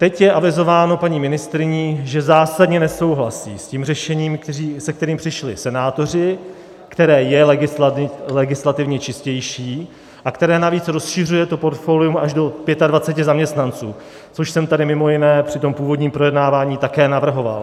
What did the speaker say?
Teď je avizováno paní ministryní, že zásadně nesouhlasí s tím řešením, se kterým přišli senátoři, které je legislativně čistější a které navíc rozšiřuje to portfolium až do 25 zaměstnanců, což jsem tady mimo jiné při tom původním projednávání také navrhoval.